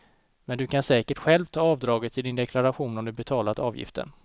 Men du kan säkert själv ta avdraget i din deklaration om du betalat avgifter.